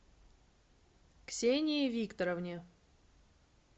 ксении викторовне